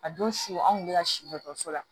A don su an kun bɛ ka si dɔ la